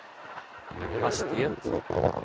hastighet